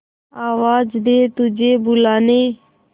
आवाज दे तुझे बुलाने